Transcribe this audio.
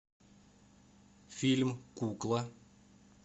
фильм кукла